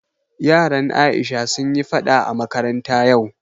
Yaran Aisha sun yi faɗa a makaranta yau